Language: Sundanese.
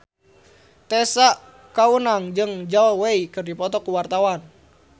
Tessa Kaunang jeung Zhao Wei keur dipoto ku wartawan